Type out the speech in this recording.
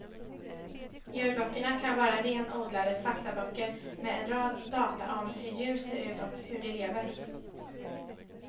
Djurböckerna kan vara renodlade faktaböcker med en rad data om hur djur ser ut och hur de lever.